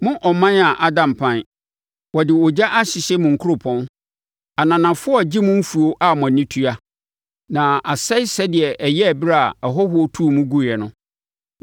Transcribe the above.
Mo ɔman ada mpan, wɔde ogya ahyehye mo nkuropɔn; ananafoɔ regye mo mfuo a mo ani tua, na asɛe sɛdeɛ ɛyɛɛ ɛberɛ a ahɔhoɔ tuu mo guiɛ no.